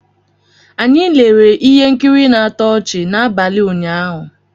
Anyị lere ihe nkiri na-atọ ọchị n'abalị ụnyaahụ